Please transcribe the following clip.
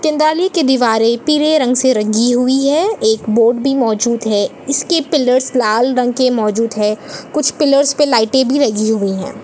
केंदाली की दीवारॆ पीले रंग से रंगी हुई है एक बोर्ड भी मौजूद है इसके पिलर्स लाल रंग के मौजूद है कुछ पिलर्स पे लाईटें भी लगी हुई हैं।